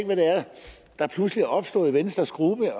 der pludselig er opstået i venstres gruppe